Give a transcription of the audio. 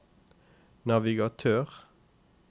navigatør